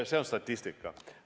See on statistika.